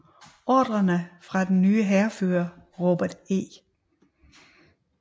Ordrerne fra den nye hærfører Robert E